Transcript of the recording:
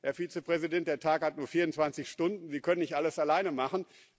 Herr Vizepräsident, der Tag hat nur 24 Stunden, Sie können nicht alles alleine machen.